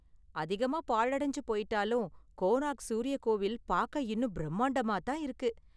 அதிகமா பாழடஞ்சு போயிட்டாலும், கோனார்க் சூரிய கோவில் பாக்க இன்னும் பிரம்மாண்டமா தான் இருக்கு.